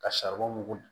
Ka